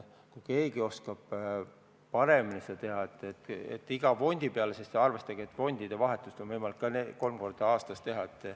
Kui keegi oskab midagi paremat pakkuda, nii et oleks arvestatud iga fondi tootlikkust, siis palun, aga tuleb ju arvestada sedagi, et fondi vahetust on võimalik kolm korda aastas teha.